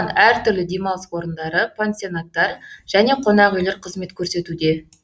әртүрлі демалыс орындары пансионаттар және қонақ үйлер қызмет көрсетуде